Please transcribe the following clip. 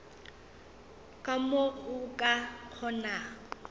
ka mo o ka kgonago